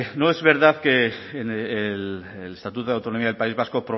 no es verdad que el estatuto de autonomía del país vasco